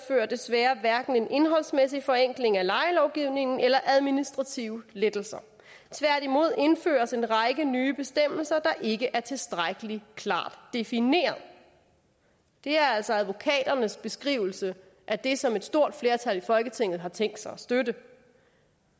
desværre hverken medfører en indholdsmæssig forenkling af lejelovgivningen eller administrative lettelser tværtimod indføres en række nye bestemmelser der ikke er tilstrækkelig klart defineret det er altså advokaternes beskrivelse af det som et stort flertal i folketinget har tænkt sig at støtte